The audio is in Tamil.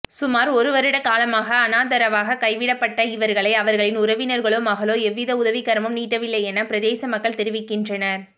சுமார் ஒரு வருடகாலமாக அனாதரவாக கைவிடப்பட்ட இவர்களை அவர்களின் உறவினர்களோ மகளோ எவ்வித உதவி கரமும் நீட்டவில்லையென பிரதேசமக்கள் தெரிவிக்கின்றனர்